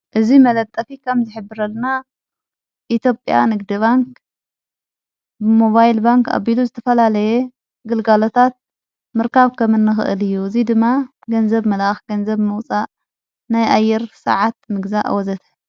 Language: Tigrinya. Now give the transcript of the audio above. እዙይ መለጠፊ ካም ዝኅብረልና ኢትዮጵያ ንግዲባንክ ሞባይል ባንክ ኣቢሉ ዝተፈላለየ ግልጋሎታት ምርካብ ከምኒኽእል እዩ እዙይ ድማ ገንዘብ መልኣኽ ገንዘብ መውፃእ ናይኣይር ሰዓት ምግዛእ ወዘተ::